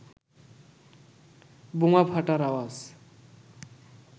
বোমা ফাটার আওয়াজ